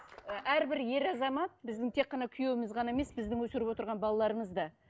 і әрбір ер азамат біздің тек қана күйеуіміз ғана емес біздің өсіріп отырған балаларымыз да